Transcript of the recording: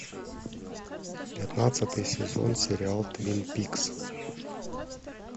пятнадцатый сезон сериал твин пикс